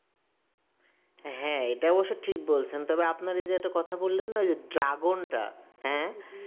হ্যাঁ এটাও অবশ্য ঠিক বলছেন তবে আপনার যে একটা কথা বললেন যে ওই dragon টা